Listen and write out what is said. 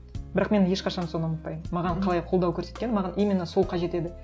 бірақ мен ешқашан соны ұмытпаймын маған қалай қолдау көрсеткенін маған именно сол қажет еді